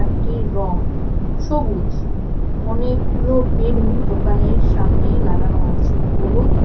সেটির রং সবুজ অনেকগুলো বেলুন দোকানের সামনে লাগানো আছে হলুদ--